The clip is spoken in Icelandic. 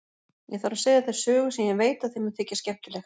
Ég þarf að segja þér sögu sem ég veit að þér mun þykja skemmtileg.